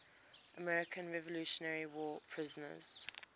american revolutionary war prisoners